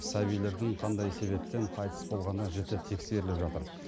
сәбилердің қандай себептен қайтыс болғаны жіті тексеріліп жатыр